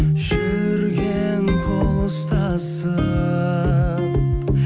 жүрген қол ұстасып